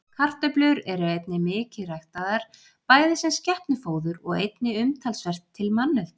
Kartöflur eru einnig mikið ræktaðar, bæði sem skepnufóður og einnig umtalsvert til manneldis.